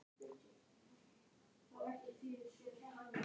Hún brosti blítt til strákanna.